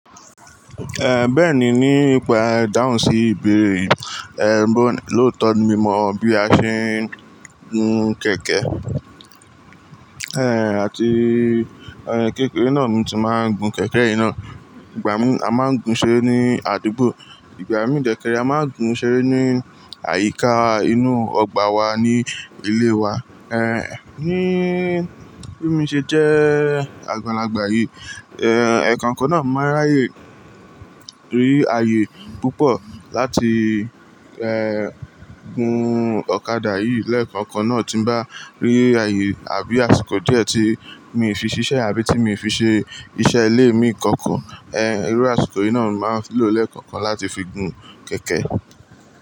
En, bẹ́ẹ̀ni, ní ìpa idáhùn sí ibere, en bo, lóòótọ́ ni mo mọ bí a ṣe ń gun kẹ̀kẹ́. En, àti, ẹ̀, kékeré náà ni mo ti máa ń gun kẹ̀kẹ́ yii ná. Ìgbà mí a máa ń gun ṣere ní àdúgbò, ìgbà mì de kere a máa ń gun ṣére ní àyíká inú ọgbà wa ní ilé wa. Ẹ̀, ní bí mi ṣe jẹ́ àgbàlagbà yìí, en, ẹ̀ kọ̀kan náà mo máa ráyè rí ààyè púpọ̀ láti, en, gun ọ̀kadà yìí lẹ́ẹ̀kọ̀kan náà tí ń bá rí ààyè àbí àsìkò díẹ̀ tí mi fi ṣiṣẹ́ àbí tí mi fi ṣe iṣẹ́ ilé mi kankan. Ẹ̀n, irú àsìkò yìí náà ni máa ń lò lẹ́ẹ̀kọ̀kan láti fi gun kẹ̀kẹ́.